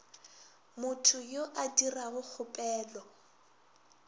motho yo a dirago kgopelo